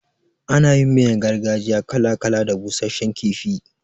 Ana yin miyar gargajiya kala kala da busashshen kifi.